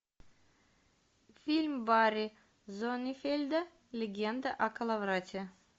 фильм барри зонненфельда легенда о коловрате